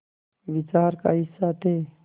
विचार का हिस्सा थे